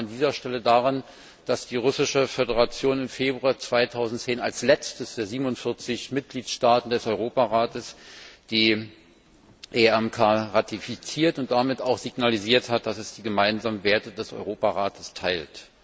Ich erinnere an dieser Stelle daran, dass die Russische Föderation im Februar 2010 als letzter der 47 Mitgliedstaaten des Europarates die EMRK ratifiziert und damit auch signalisiert hat, dass sie die gemeinsamen Werte des Europarates teilt.